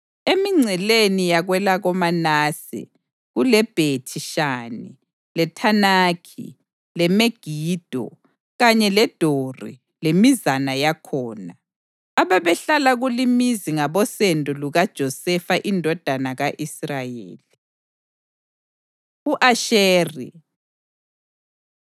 Emingceleni yakwelakoManase kuleBhethi-Shani, leThanakhi, leMegido, kanye leDori lemizana yakhona. Ababehlala kulimizi ngabosendo lukaJosefa indodana ka-Israyeli. U-Asheri